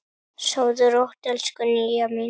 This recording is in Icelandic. Sofðu rótt, elsku Nýja mín.